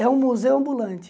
É um museu ambulante.